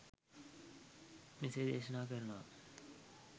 මෙසේ දේශනා කරනවා.